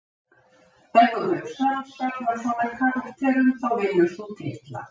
Ef þú hefur samansafn af svona karakterum þá vinnur þú titla.